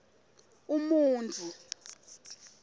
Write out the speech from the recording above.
umuntfu